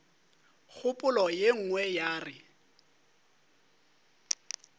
kgopolo ye nngwe ya re